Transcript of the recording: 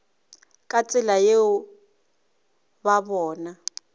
ka tsela yeo ba bona